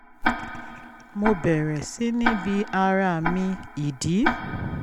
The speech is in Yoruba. mo bẹ̀rẹ̀ sí ní bi ara mi ìdí